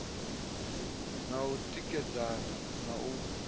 na u tikedzana na u